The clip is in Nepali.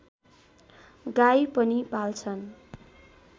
गाई पनि पाल्छन्